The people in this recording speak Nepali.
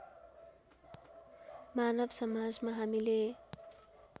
मानव समाजमा हामीले